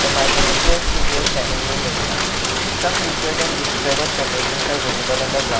the market appears to be a semi rural area some littered and discraded packagings are visible on the ground.